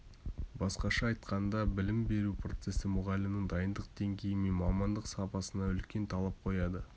басқаша айтқанда білім беру процесі мұғалімнің дайындық деңгейі мен мамандық сапасына үлкен талап қояды